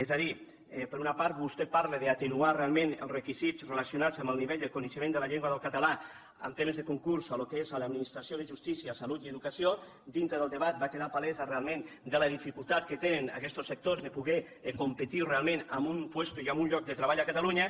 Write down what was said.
és a dir per una part vostè parla d’atenuar realment els requisits relacionats amb el nivell de coneixement de la llengua del català en temes de concurs en el que és l’administració de justícia salut i educació dintre del debat va quedar palesa realment la dificultat que tenen aquestos sectors de poder competir realment amb un lloc de treball a catalunya